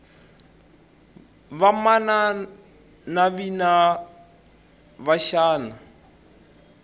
vamana navina va xana